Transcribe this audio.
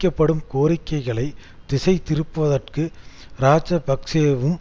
all நிச்சயப்படுத்தப்பட்டதுடன் எண்ணூறு வீடுகள்